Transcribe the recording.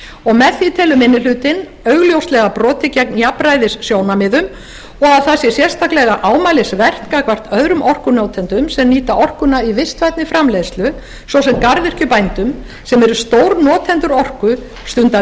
og með því telur minni hlutinn augljóslega brotið gegn jafnræðissjónarmiðum og það sér sérstaklega ámælisvert gagnvart öðrum orkunotendum sem nýta orkuna í vistvænni framleiðslu svo sem garðyrkjubændum sem eru stórnotendur orku stunda